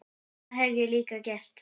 Það hef ég líka gert.